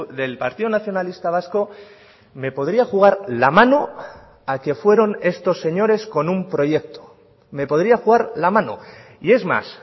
del partido nacionalista vasco me podría jugar la mano a que fueron estos señores con un proyecto me podría jugar la mano y es más